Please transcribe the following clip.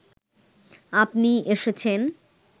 আপনি এসেছেন